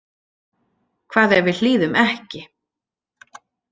Hvað ef við hlýðum ekki?